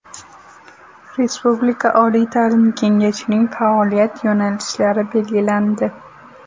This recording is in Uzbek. Respublika oliy ta’lim kengashining faoliyat yo‘nalishlari belgilandi.